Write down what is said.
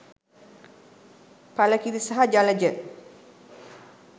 එල කිරි සහ ජලජ